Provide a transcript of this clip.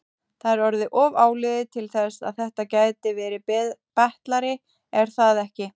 Það er orðið of áliðið til þess að þetta gæti verið betlari, er það ekki?